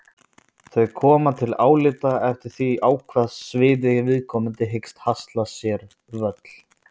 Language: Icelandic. Þau koma til álita eftir því á hvað sviði viðkomandi hyggst hasla sér völl.